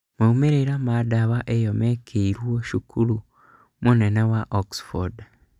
Maumĩrĩra ma dawa ĩyo mekĩirwo cukuru mũnene wa Oxford